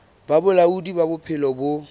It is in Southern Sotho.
ba bolaodi ba bophelo bo